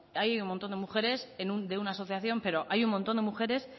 hay un montón de mujeres de una asociación pero hay un montón de mujeres